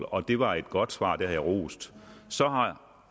og det var et godt svar og det har jeg rost så har